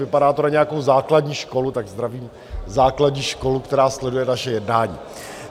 Vypadá to na nějakou základní školu, tak zdravím základní školu, která sleduje naše jednání.